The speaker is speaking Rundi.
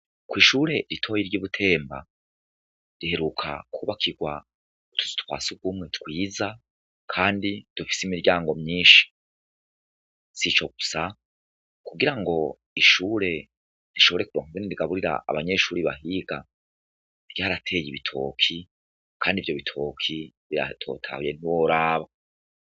Kw'ishure ritoya ry'ibutemba riheruka kubakirwa utuzu twasugumwe twiza kandi dufise imiryango myinshi, si ico gusa kugira ngo ishure rishobore kuronka uko rigaburira abanyeshuri bahiga barateye ibitoki, kandi ivyo bitoki biratotahaye nti woraba.